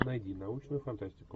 найди научную фантастику